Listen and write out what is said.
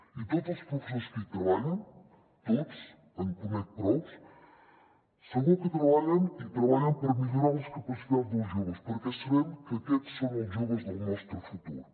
i tots els professors que hi treballen tots en conec prous segur que treballen i treballen per millorar les capacitats dels joves perquè sabem que aquests són els joves del nostre futur